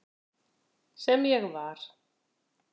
Sem ég var.